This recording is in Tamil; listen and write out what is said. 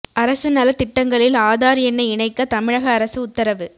அரசு நல திட்டங்களில் ஆதார் எண்ணை இணைக்க தமிழக அரசு உத்தரவு